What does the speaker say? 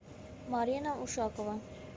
марина ушакова